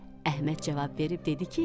Əhməd cavab verib dedi ki,